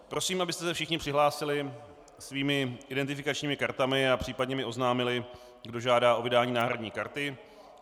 Prosím, abyste se všichni přihlásili svými identifikačními kartami a případně mi oznámili, kdo žádá o vydání náhradní karty.